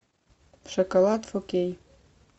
шоколад фор кей